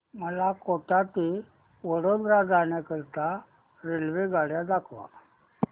मला कोटा ते वडोदरा जाण्या करीता रेल्वेगाड्या दाखवा